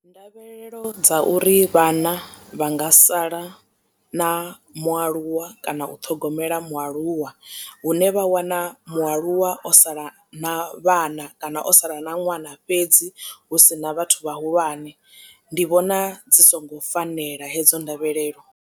Ndavhelelo dza uri vhana vha nga sala na mualuwa kana u ṱhogomela mualuwa hune vha wana mualuwa o sala na vhana kana o sala na ṅwana fhedzi hu si na vhathu vhahulwane ndi vhona dzi songo fanela hedzo ndavhelelo.